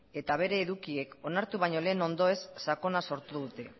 eta bere edukiek onartu baino lehen ondoez sakona sortu dute